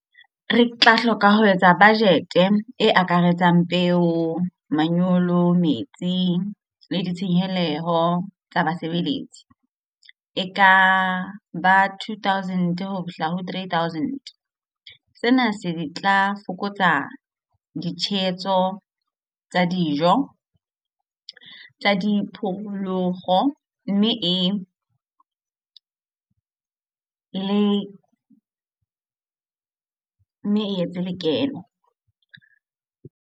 Re tla hloka ho etsa budget e akaretsang peo, manyolo, metsi le ditshenyeho tsa basebeletsi e ka ba two thousand ho fihla ho three thousand. Sena se tla fokotsa ditshehetso tsa dijo tsa diphoofolo mme e etse lekeno.